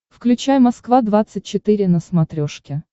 включай москва двадцать четыре на смотрешке